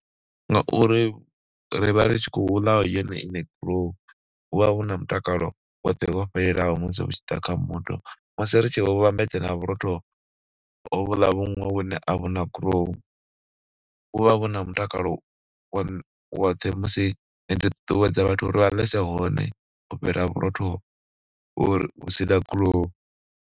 Ngauri ri vha ri tshi khou ḽa yone iṋe gurowu, hu vha hu na mutakalo woṱhe wo fhelelaho musi hu tshi ḓa kha muthu, musi ri tshi vhambedza na vhurotho hovhuḽa vhuṅwe vhune a vhu na gurowu vhu vha vhu na mutakalo wo woṱhe musi, ni ṱuṱuwedza vhathu uri vha ḽese hone u fhira vhurotho uri hu si na gurowu.